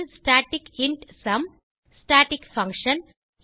static int sum static function